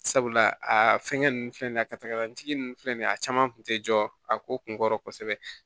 Sabula a fɛngɛ ninnu filɛ nin ye a katalanjigi ninnu filɛ nin ye a caman kun tɛ jɔ a ko kun kɔrɔ kosɛbɛ